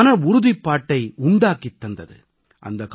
மன உறுதிப்பாட்டை உண்டாக்கித் தந்தது